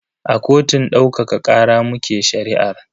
A kotun daukaka kara muke shari'ar.